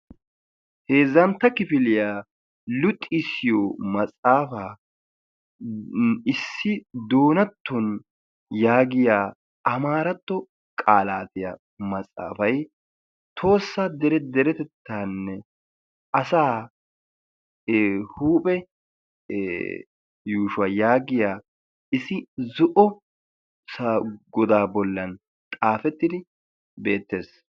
Heezzantta kifiliyaa luxxisiyo maxaafaan issi doonatton yaagiya amaaratto qaalaatiyaa maxaafay tohossaa deretettaanne asa huuphe yuushuwaa yaagiya issi zo'o godaa bollan xaafettidi beettees.